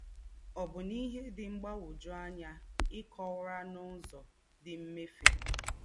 Ọ́bụ́nà íhè dị́ mgbàgwọ́jụ̀ ànyá é kọ̀wàrà n’ứzọ̀ dí̄ mmẹ̀fè.